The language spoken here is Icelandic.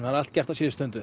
allt gert á síðustu stundu